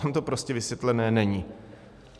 Tam to prostě vysvětlené není.